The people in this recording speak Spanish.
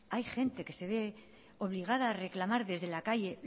hay gente que se ve obligada reclamar desde la calle